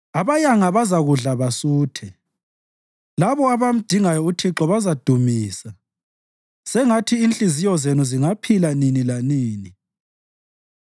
Abayanga bazakudla basuthe labo abamdingayo uThixo bazamdumisa sengathi inhliziyo zenu zingaphila nini lanini!